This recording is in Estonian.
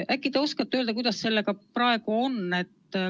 Äkki te oskate öelda, kuidas sellega praegu on?